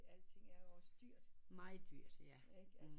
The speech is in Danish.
Alting er jo dyrt